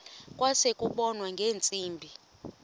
kwase kubonwa ngeentsimbi